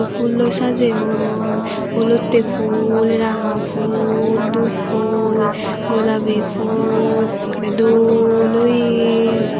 fhulloi sajeyon olottey fhul ranga fhul dup fhul gulabi fhul ekkrey dol oye.